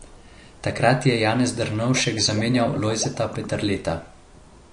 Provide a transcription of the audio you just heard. Takrat je Janez Drnovšek zamenjal Lojzeta Peterleta.